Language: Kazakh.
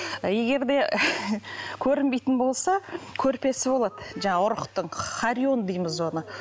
егер де көрінбейтін болса көрпесі болады жаңағы ұрықтың харион дейміз оны